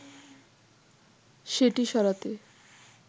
সেটি সরাতে”